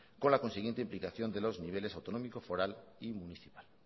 con la consiguiente implicación de los niveles autonómico foral y municipal